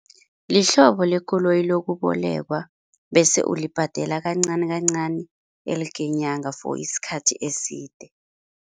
Lihlobo lekoloyi lokubolekwa bese ulibhadela kancani kancani elke nyanga for isikhathi eside.